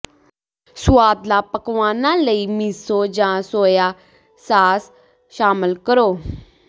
ਸੁਆਦਲਾ ਪਕਵਾਨਾਂ ਲਈ ਮਿਸੋ ਜਾਂ ਸੋਇਆ ਸਾਸ ਸ਼ਾਮਲ ਕਰੋ